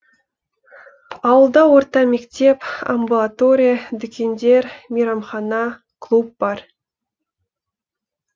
ауылда орта мектеп амбулатория дүкендер мейрамхана клуб бар